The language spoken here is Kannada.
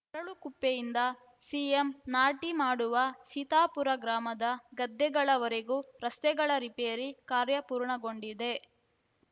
ಅರಳಕುಪ್ಪೆಯಿಂದ ಸಿಎಂ ನಾಟಿ ಮಾಡುವ ಸೀತಾಪುರ ಗ್ರಾಮದ ಗದ್ದೆಗಳ ವರೆಗೂ ರಸ್ತೆಗಳ ರಿಪೇರಿ ಕಾರ್ಯ ಪೂರ್ಣಗೊಂಡಿದೆ